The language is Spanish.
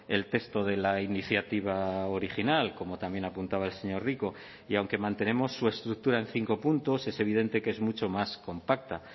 el texto de la iniciativa original como también apuntaba el señor rico y aunque mantenemos su estructura en cinco puntos es evidente que es mucho más compacta